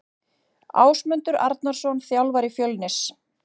Ásmundur Arnarsson þjálfari Fjölnis.